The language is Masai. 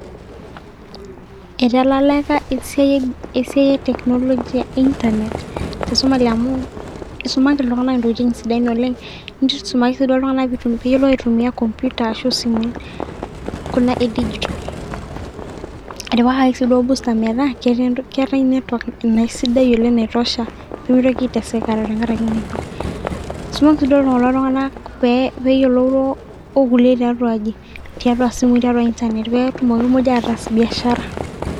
Italalaka esiai esiai e technology e internet te somali amu isumaki iltunganak intokitin sidain oleng .nisumaki iltunganak peyiolou aitumia computer ashu isimui kuna e digital. etipikaki si duoo booster meetaa keetaae network ninye sidai oleng naitosha pemitoki aiteseka tenkaraki network. isumaki si duo kulo tunganak peyioloro orkulikae tiatua aji tiatua simui tiatua internet petmoki ataas biashara.